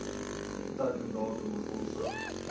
teiken datum befondsing